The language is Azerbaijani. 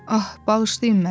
Ah, bağışlayın məni.